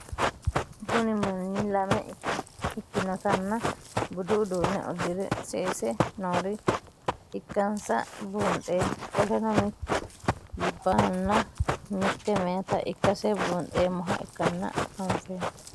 Kuni Manni lame ikinotana budu udune udire sese noore ikansa bunxemo qoleno mitu labahana mite mayita ikase bunxeemoha ikanisa anfeno?